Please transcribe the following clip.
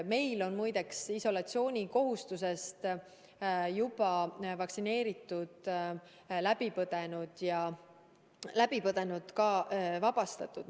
Meil muide on vaktsineeritud ja haiguse läbipõdenud isolatsioonikohustusest juba ka vabastatud.